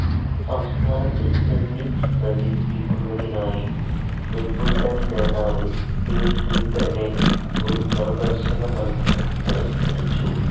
സംസ്ഥാനത്ത് ടെന്നിസ്‌ പ്രചരിപ്പിക്കുന്നതിനായി വിംബിൾഡൺ ജേതാവ് ബിൽ ടിൽടനെ ഒരു പ്രദർശന മത്സരത്തിനായി ക്ഷണിച്ചു.